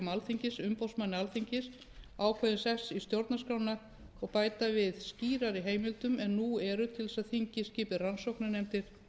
alþingis umboðsmanni alþingis ákveðinn sess í stjórnarskránni og bæta við skýrari heimildum en nú eru til þess að þingið skipi rannsóknarnefndir